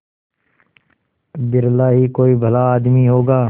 बिरला ही कोई भला आदमी होगा